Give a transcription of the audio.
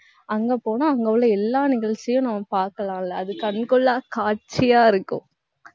அங்க போனா, அங்க உள்ள எல்லா நிகழ்ச்சியும் நம்ம பார்க்கலாம்ல அது கண்கொள்ளா காட்சியா இருக்கும்